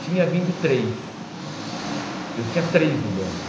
Tinha vindo três, eu tinha três no banco.